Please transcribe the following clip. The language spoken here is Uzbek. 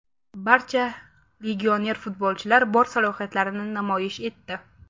Barcha legioner futbolchilar bor salohiyatlarini namoyish etdi.